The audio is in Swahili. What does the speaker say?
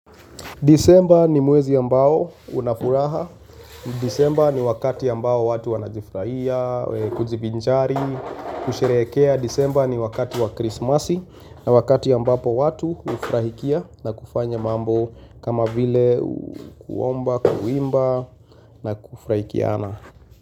Disemba ni mwezi ambao una furaha. Disemba ni wakati ambao watu wanajifurahia, kujibinjari, kusherehekea. Disemba ni wakati wa krismasi na wakati ambapo watu hufrahikia na kufanya mambo kama vile kuomba, kuimba na kufrahikiana.